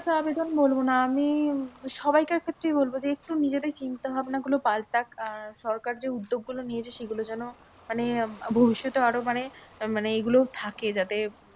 কাছে আবেদন বলবো না, আমি সবাইকার ক্ষেত্রেই বলবো যে, একটু নিজেদের চিন্তাভাবনা গুলো পাল্টাক। আহ সরকার যে উদ্যোগ গুলো নিয়েছে সেইগুলো যেন মানে ভবিষ্যতে আরোও মানে মানে এইগুলো থাকে যাতে